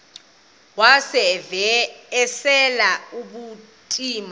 wav usel ubucima